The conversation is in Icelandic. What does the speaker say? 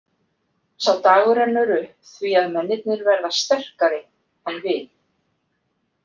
Sá dagur rennur upp því að mennirnir verða sterkari en við.